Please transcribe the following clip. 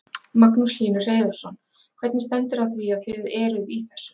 Magnús Hlynur Hreiðarsson: Hvernig stendur á því að þið eruð í þessu?